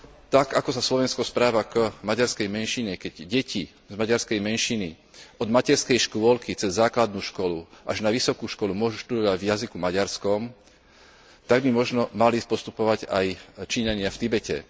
Tak ako sa Slovensko správa k maďarskej menšine, keď deti z maďarskej menšiny od materskej škôlky, cez základnú školu až na vysokú školu môžu študovať v jazyku maďarskom, tak by možno mali postupovať aj Číňania v Tibete.